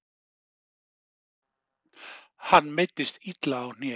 Hann meiddist illa á hné.